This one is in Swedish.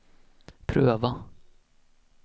pröva